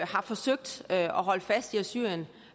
har forsøgt at holde fast i at syrien